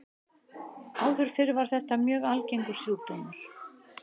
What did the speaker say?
Áður fyrr var þetta mjög algengur sjúkdómur.